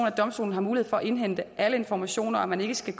at domstolen har mulighed for at indhente alle informationer at man ikke skal